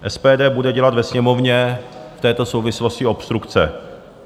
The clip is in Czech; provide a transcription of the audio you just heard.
SPD bude dělat ve Sněmovně v této souvislosti obstrukce.